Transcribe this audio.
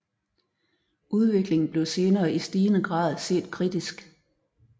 Udviklingen blev senere i stigende grad set kritisk